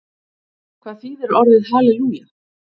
Hvað þýðir orðið halelúja?